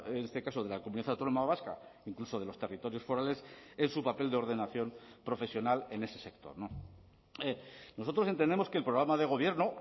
en este caso de la comunidad autónoma vasca incluso de los territorios forales en su papel de ordenación profesional en ese sector nosotros entendemos que el programa de gobierno